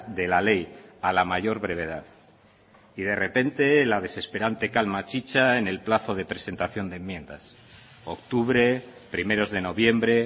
de la ley a la mayor brevedad y de repente la desesperante calma chicha en el plazo de presentación de enmiendas octubre primeros de noviembre